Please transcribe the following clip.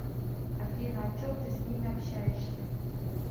афина о чем ты с ними общаешься